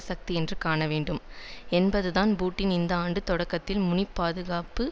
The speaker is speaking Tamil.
சக்தி என்று காணவேண்டும் என்பதுதான் புட்டின் இந்த ஆண்டு தொடக்கத்தில் மூனிச் பாதுகாப்பு